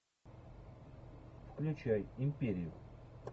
включай империю